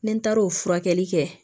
Ni n taara o furakɛli kɛ